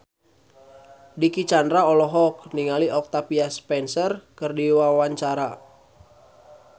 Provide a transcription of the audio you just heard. Dicky Chandra olohok ningali Octavia Spencer keur diwawancara